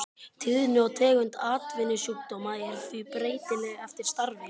Tíðni og tegund atvinnusjúkdóma er því breytileg eftir starfi.